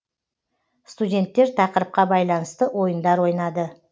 студенттер тақырыпқа байланысты ойындар ойнады